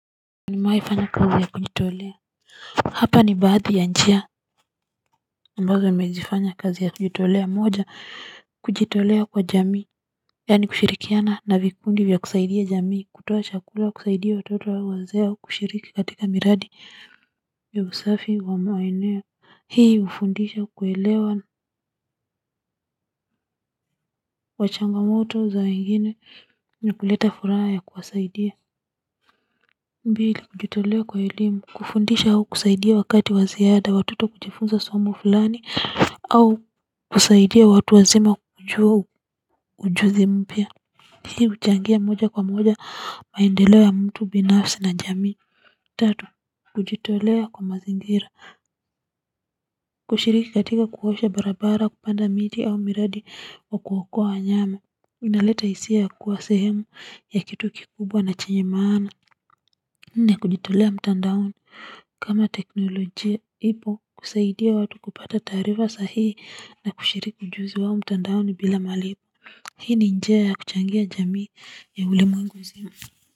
Nimewaifanya kazi ya kujitolea hapa ni baadhi ya njia ambazo wamezifanya kazi ya kujitolea moja kujitolea kwa jamii yaani kushirikiana na vikundi vya kusaidia jamii kutoa chakula kusaidia watoto wa wazee au kushiriki katika miradi kufanya usafi wa maeneo hii hufundisha kuelewa wachangamoto za wengine ni kuleta furaha ya kuwasaidia mbli kujitolea kwa elimu kufundisha au kusaidia wakati wa ziada watoto kujifunza somo fulani au kusaidia watu wazima wajue ujuzi mpya. Hii huchangia moja kwa moja, maendeleo ya mtu binafsi na jamii. Tatu, kujitolea kwa mazingira. Kushiriki katika kuosha barabara, kupanda miti au miradi kwa kuokua wanyama. Inaleta hisia ya kuwa sehemu ya kitu kikubwa na chenye maana. Nne kujitolea mtandaoni kama teknolojia ipo kusaidia watu kupata tarifa sahii na kushiriki mjuzi wao mtandaoni bila malipo hii ni njia ya kuchangia jamii ya ulimwengu mzima.